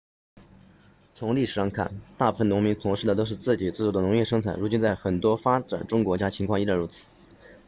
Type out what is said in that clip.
从历史上看大部分农民从事的都是自给自足的农业生产如今在很多发展中国家情况依然如此